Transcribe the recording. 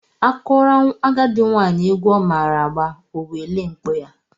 A kụọrọ agadị nwaanyị egwu ọ maara agba, o welie mkpọ ya.